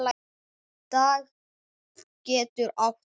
Dag getur átt við